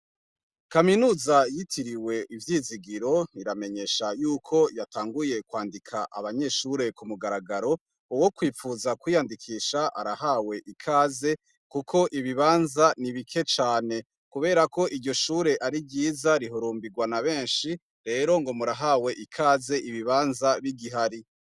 Kaminuza yitiriwe ivyizigiro iramenyesha yuko yatanguye kwandika abanyeshure ku mugaragaro uwo kwipfuza kwiyandikisha arahawe ikaze, kuko ibibanza ni ibike cane, kubera ko iryo shure ari ryiza rihurumbirwa na benshi rero ngo murahawe ikaze ibi bibanza b'igihari.